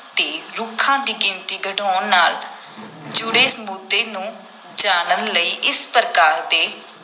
‘ਤੇ ਰੁੱਖਾਂ ਦੀ ਗਿਣਤੀ ਘਟਾਉਣ ਨਾਲ ਜੁੜੇ ਮੁੱਦੇ ਨੂੰ ਜਾਣਨ ਲਈ ਇਸ ਪ੍ਰਕਾਰ ਦੇ